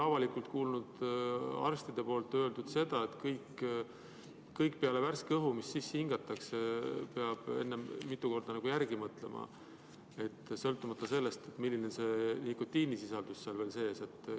Ma olen arste kuulnud avalikult ütlemas seda, et kõige, mida sisse hingatakse – peale värske õhu –, tuleb mitu korda järele mõelda, sõltumata sellest, milline see nikotiinisisaldus seal sees on.